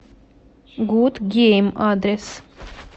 гуд гейм адрес